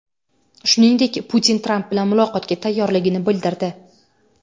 Shuningdek, Putin Tramp bilan muloqotga tayyorligini bildirdi.